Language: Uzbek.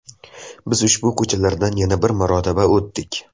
Biz ushbu ko‘chalardan yana bir marotaba o‘tdik.